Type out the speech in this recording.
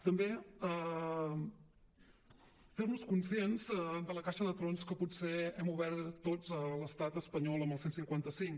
també fer nos conscients de la caixa de trons que potser hem obert tots a l’estat espanyol amb el cent i cinquanta cinc